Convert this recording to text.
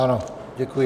Ano, Děkuji.